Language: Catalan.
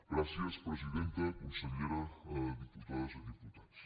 gràcies presidenta consellera diputades i diputats